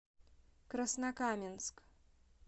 краснокаменск